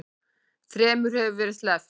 Þremur hefur verið sleppt